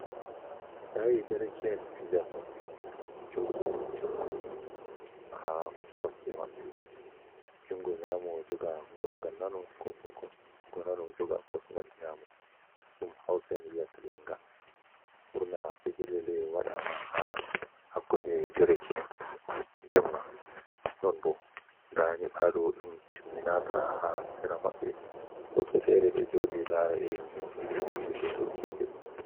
Sayi dereke'en fijanno jogi junngo haa kosɗe maɓɓe, junngo nyaamo, joga kosngal nano, ko nano joga kosngal nyaamo, ɗum hawsa'en wiyata lannga. Ɓurna fejirle ɗe, waɗaama haa hakkunde dereke’en jemma, non bo ndaa nyiɓaalo dum timminaaka haa sera maɓɓe. Woɓɓe feere ɗo jooɗi laara, irin no figirjeeji dogginte.